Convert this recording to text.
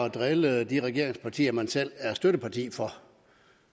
at drille de regeringspartier man selv er støtteparti for